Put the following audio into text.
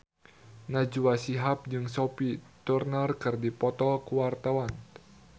Najwa Shihab jeung Sophie Turner keur dipoto ku wartawan